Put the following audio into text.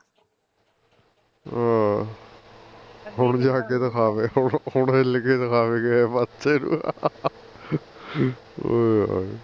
ਹਾਂ ਹੁਣ ਜਾ ਕੇ ਦਿਖਾਵੇ ਹੁਣ ਹਿਲ ਕੇ ਦਿਖਾਵੇ ਕਿਸੇ ਪਾਸੇ ਨੂੰ ਆਹੋ